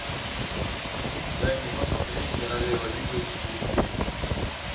дай мне посмотреть королева юга четыре кей